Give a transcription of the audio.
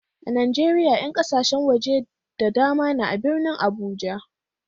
A Najeriya 'yan kasashen waje da dama ne a birnin Abuja.